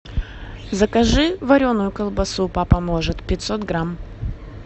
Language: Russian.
закажи вареную колбасу папа может пятьсот грамм